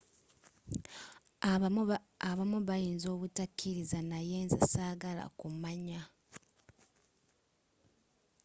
abamu bayinza obutakiriza naye nze sagala kumanya